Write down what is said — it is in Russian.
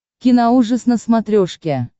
киноужас на смотрешке